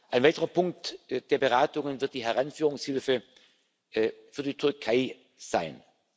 sollte. Ein weiterer Punkt der Beratungen wird die Heranführungshilfe für die Türkei